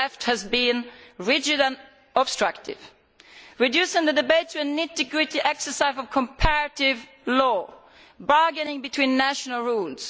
The left has been rigid and obstructive, reducing the debate to a nitpicking exercise of comparative law, bargaining between national rules.